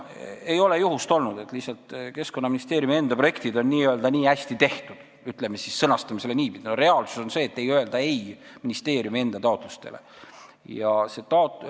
Lihtsalt Keskkonnaministeeriumi enda projektid on nii hästi tehtud – sõnastame niipidi –, et reaalsus on selline: ei ole olnud juhust, kui ministeeriumi enda taotlustele öeldaks ei.